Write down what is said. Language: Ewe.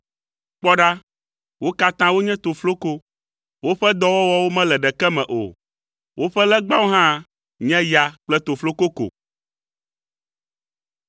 Kpɔ ɖa, wo katã wonye tofloko! Woƒe dɔwɔwɔwo mele ɖeke me o. Woƒe legbawo hã nye ya kple tofloko ko.